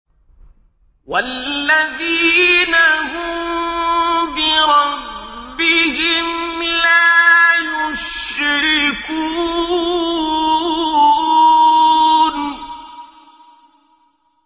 وَالَّذِينَ هُم بِرَبِّهِمْ لَا يُشْرِكُونَ